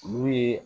Olu ye